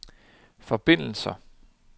forbindelser